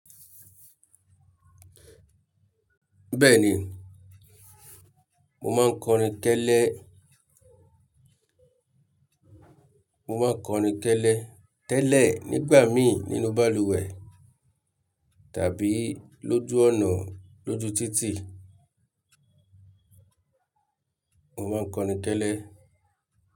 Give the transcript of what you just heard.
Bẹ́ẹ̀ni, mo máa ń kọrin kẹ́lẹ́, mo máa ń kọrin kẹ́lẹ́ tẹ́lẹ̀ nígbà mi nínú balùwẹ̀ tàbí lójú ọ̀nà lójú títì, mo máa ń kọrin kẹ́lẹ́.